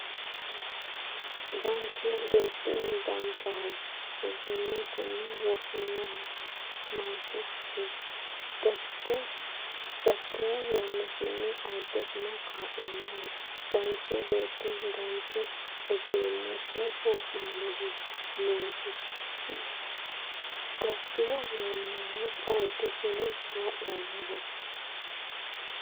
Danchu beetti danchaho egennotenni wo’minoho noosi gattino yannasinni ayiddesi kaa’lannoho Danchu beetti danchaho egennotenni wo’minoho noosi gattino yannasinni ayiddesi kaa’lannoho.